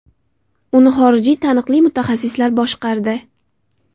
Uni xorijiy taniqli mutaxassislar boshqardi.